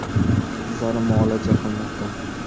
Qizlari muolaja qilmoqda.